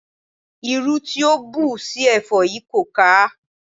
Irú tí o ń bù sí ẹ̀fọ́ yìí kò ká a.